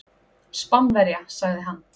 Spánverja, sagði hann.